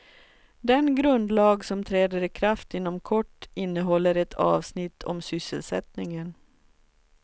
Den grundlag som träder i kraft inom kort innehåller ett avsnitt om sysselsättningen.